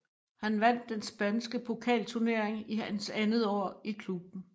Han vandt den spanske pokalturnering i hans andet år i klubben